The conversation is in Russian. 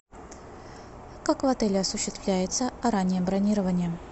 как в отеле осуществляется раннее бронирование